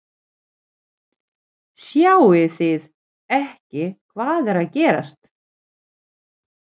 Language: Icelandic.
Sjáið þið ekki hvað er að gerast!